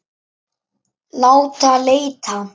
Láta leita.